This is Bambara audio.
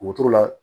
Wotoro la